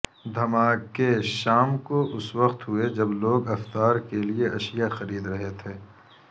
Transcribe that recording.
دھماکے شام کو اس وقت ہوئے جب لوگ افطار کے لیے اشیاء خرید رہے تھے